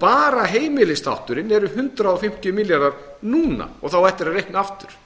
bara heimilisþátturinn er hundrað fimmtíu milljarðar núna og það á eftir að reikna aftur